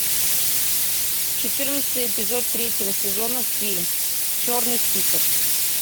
четырнадцатый эпизод третьего сезона фильм черный список